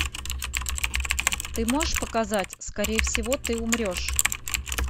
ты можешь показать скорее всего ты умрешь